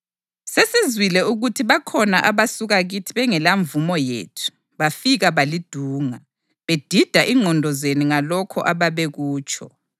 Sesizwile ukuthi bakhona abasuka kithi bengelamvumo yethu bafika balidunga, bedida ingqondo zenu ngalokho ababekutsho.